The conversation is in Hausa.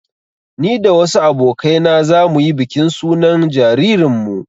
Ni da wasu abokai na za mu yi bikin sunan jaririnmu